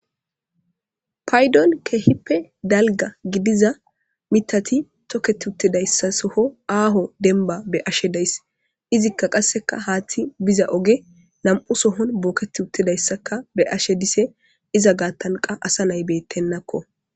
paydon kehippe dalga gidiza mitati tokketi uttedayssa soho aaho denba be ashe days izikka qasseka haaththi biza oge lam7u sohon booketi uttedayssaka be ashe dise iza gaattanqa asa naybeyttennakko